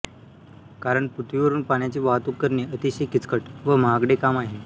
कारण पृथ्वीवरून पाण्याची वाहतूक करणे अतिशय किचकट व महागडे काम आहे